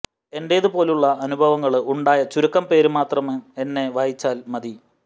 എന്റേത് പോലുള്ള അനുഭവങ്ങള് ഉണ്ടായ ചുരുക്കം പേര് മാത്രം എന്നെ വായിച്ചാല് മതി